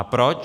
A proč?